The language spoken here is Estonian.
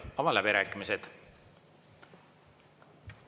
Avan läbirääkimised.